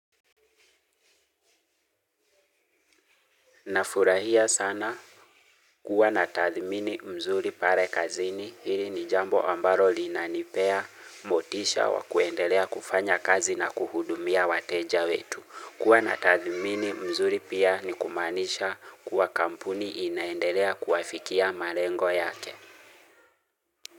Nafurahia sana kuwa na tathimini mzuri pale kazini hili ni jambo ambalo linanipea motisha wa kuendelea kufanya kazi na kuhudumia wateja wetu. Kuwa na tathimini mzuri pia ni kumaanisha kuwa kampuni inaendelea kuwafikia malengo yake.